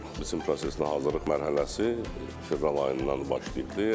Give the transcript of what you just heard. Biçin prosesinə hazırlıq mərhələsi fevral ayından başlayıbdır.